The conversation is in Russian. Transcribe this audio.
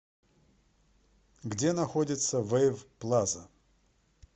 где находится вэйв плаза